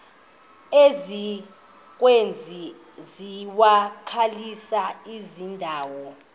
ezikwezi zivakalisi zilandelayo